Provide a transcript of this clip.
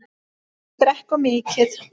Ekki drekka of mikið.